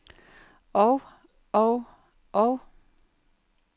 og og og